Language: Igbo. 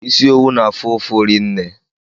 Isi owu na-afụ ufu rinne